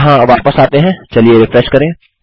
यहाँ वापस आते हैं चलिए रिफ्रेश करें